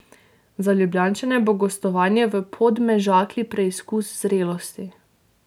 Za Ljubljančane bo gostovanje v Podmežakli preizkus zrelosti.